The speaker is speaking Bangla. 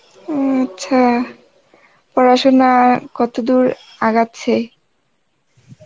উম আচ্ছা, পড়াশুনা কতদূর আগাচ্ছে?